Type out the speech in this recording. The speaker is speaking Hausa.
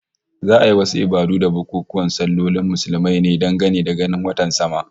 Za'a yi wasu ibadu da bukunkunan sallolin Muslumai ne dangane da ganin watan sama